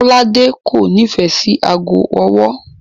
Kọ́ládé kò nífẹ̀ẹ́ sí aago ọwọ́.